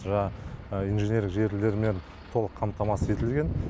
жаңағы инженерлік желілермен толық қамтамасыз етілген